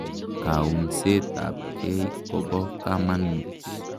Kaunset apkei kopo kamonut.